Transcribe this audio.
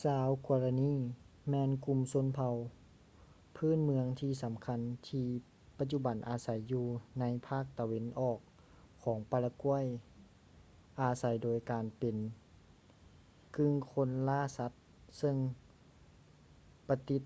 ຊາວ guaraní ແມ່ນກຸ່ມຊົນເຜົ່າພື້ນເມື່ອງທີສຳຄັນທີ່ປະຈຸບັນອາໃສຢູ່ໃນພາກຕາເວັນອອກຂອງປາຣາກວຍ ອາໃສໂດຍການເປັນກຶ່ງຄົນລ່າສັດເຊິ່ງປະຕິດ